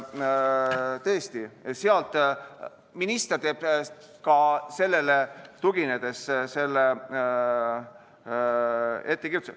Tõesti, minister teeb ka sellele tuginedes selle ettekirjutuse.